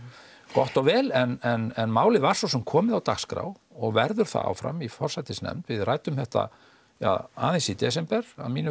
gott og vel en málið var svo sem komið á dagskrá og verður það áfram í forsætisnefnd við ræddum þetta ja aðeins í desember að mínu